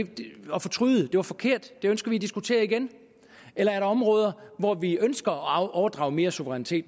var forkert det ønsker vi at diskutere igen eller er der områder hvor vi ønsker at overdrage mere suverænitet